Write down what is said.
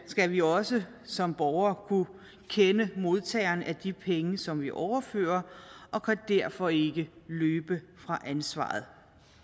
skal vi også som borgere kunne kende modtageren af de penge som vi overfører og kan derfor ikke løbe fra ansvaret